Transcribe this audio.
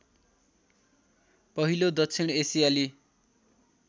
पहिलो दक्षिण एसियाली